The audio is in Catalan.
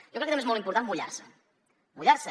jo crec que també és molt important mullar se mullar se